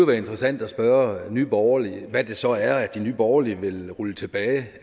være interessant at spørge nye borgerlige hvad det så er som nye borgerlige vil rulle tilbage